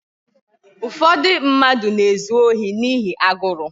Ụfọdụ mmadụ na-ezu ohi n'ihi agụrụ